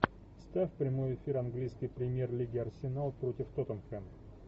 ставь прямой эфир английской премьер лиги арсенал против тоттенхэм